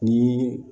Ni